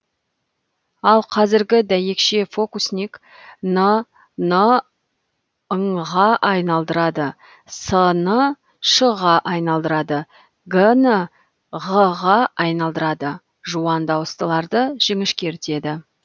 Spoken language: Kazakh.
ал кәзіргі дәйекше фокусник н ны ң ға айналдырады с ны ш ға айналдырады г ны ғ ға айналдырады жуан дауыстыларды жіңішкертеді